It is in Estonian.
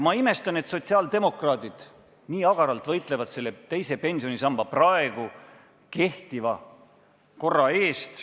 Ma imestan, et sotsiaaldemokraadid nii agaralt võitlevad teise pensionisamba praegu kehtiva korra eest.